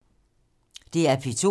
DR P2